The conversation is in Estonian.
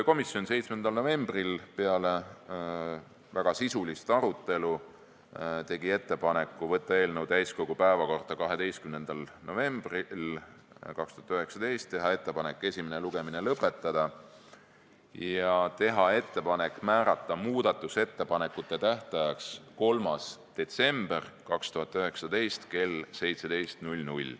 Komisjon tegi 7. novembril peale väga sisulist arutelu ettepanekud saata eelnõu täiskogu päevakorda 12. novembriks 2019, esimene lugemine lõpetada ja määrata muudatusettepanekute esitamise tähtajaks 3. detsember 2019 kell 17.